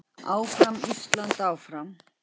Áfram Ísland, áfram.